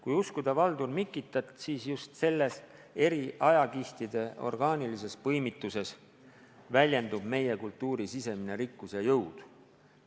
Kui uskuda Valdur Mikitat, siis just selles – eri ajakihtide orgaanilises põimituses – väljendub meie kultuuri sisemine rikkus ja jõud.